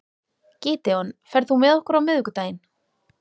Gídeon, ferð þú með okkur á miðvikudaginn?